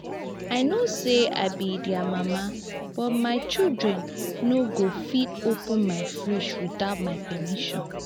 i know say i be their mama but my children no go fit open my fridge without my permission